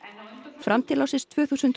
fram til ársins tvö þúsund og